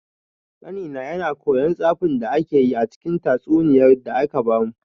Ƙanina yana kwaikwayon tsafin da akayi a cikin tatsuniyar da aka bamu.